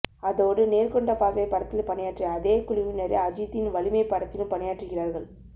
அதோடு நேர்கொண்ட பார்வை படத்தில் பணியாற்றிய அதே குழுவினரே அஜித்தின் வலிமைப் படத்திலும் பணியாற்றுகிறார்கள்